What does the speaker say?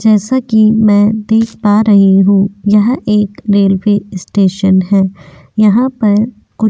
जैसा कि मैं देख पा रही हूं यह एक रेल्वे स्टेशन है यहां पर कुछ --